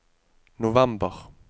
november